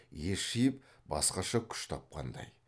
ес жиып басқаша күш тапқандай